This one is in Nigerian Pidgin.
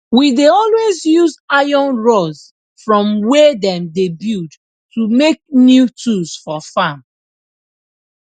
we dey always use iron rods from wey dem dey build to make new tools for farm